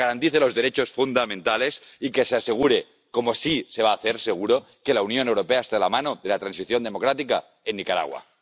que se garanticen los derechos fundamentales y que se asegure, como así se va a hacer, seguro, que la Unión Europea está de la mano de la transición democrática en Nicaragua.